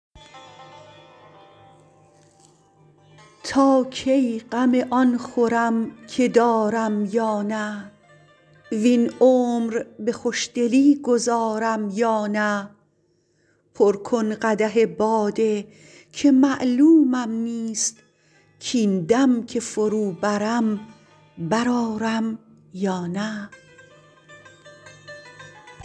تا کی غم آن خورم که دارم یا نه وین عمر به خوشدلی گذارم یا نه پر کن قدح باده که معلومم نیست کاین دم که فرو برم بر آرم یا نه